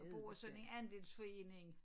Bor i sådan en andelsforening